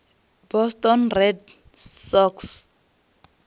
boston red sox